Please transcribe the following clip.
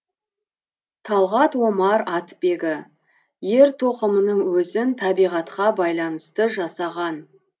талғат омар атбегі ер тоқымның өзін табиғатқа байланысты жазаған